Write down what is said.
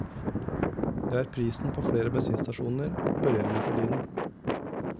Det er prisen flere bensinstasjoner opererer med for tiden.